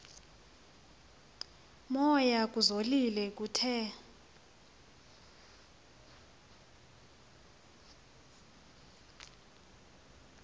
moya kuzolile kuthe